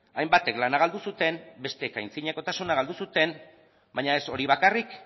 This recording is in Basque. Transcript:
hainbatek lana galdu zuten besteek antzinakotasuna galdu zuten baina ez hori bakarrik